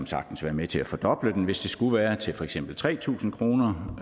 sagtens være med til at fordoble den hvis det skulle være til for eksempel tre tusind kroner